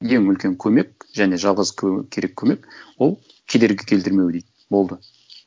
ең үлкен көмек және жалғыз керек көмек ол кедергі келтірмеу дейді болды